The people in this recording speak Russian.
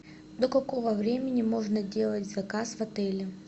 до какого времени можно делать заказ в отеле